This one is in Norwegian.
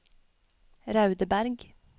Raudeberg